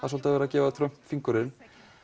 svolítið verið að gefa Trump fingurinn